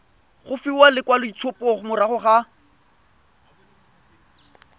go fiwa lekwaloitshupo morago ga